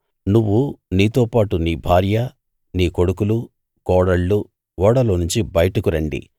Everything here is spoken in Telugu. నువ్వు నీతోపాటు నీ భార్య నీ కొడుకులు కోడళ్ళు ఓడలోనుంచి బయటకు రండి